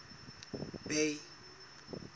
bay